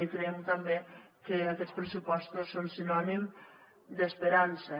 i creiem també que aquests pressupostos són sinònim d’esperança